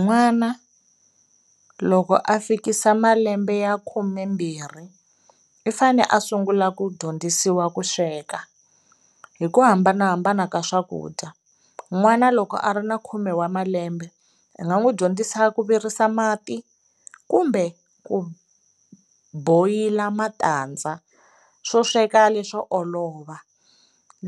N'wana loko a fikisa malembe ya khumembirhi i fanele a sungula ku dyondzisiwa ku sweka hi ku hambanahambana ka swakudya, n'wana loko a ri ni khume wa malembe i nga n'wi dyondzisa ku virisa mati kumbe ku boil-a matandza swo sweka leswo olova,